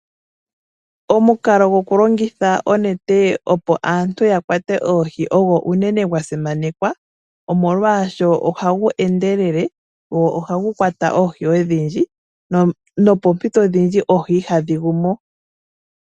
Omukalo gwokulongitha onete opo aantu ya kwate oohi ogwo unene gwa simanekwa molwaashoka ohagu endelele nohagu kwata oohi odhindji, nopoompito odhindji oohi ihadhi gu mo.